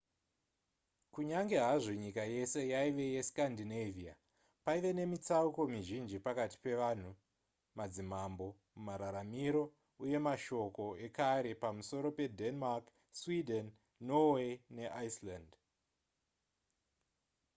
kunyange hazvo nyika yese yaive yescandinavia paive nemitsauko mizhinji pakati pevanhu madzimambo mararamiro uye mashoko ekare pamusoro pedenmark sweden norway neiceland